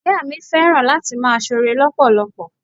Ìyá mi fẹ́ràn láti máa sore lọpọlọpọ.